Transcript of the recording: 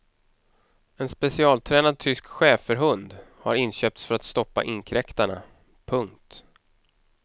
En specialtränad tysk schäferhund har inköpts för att stoppa inkräktarna. punkt